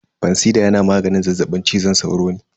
Fansida yana maganin zazzaɓin cizon sauro ne.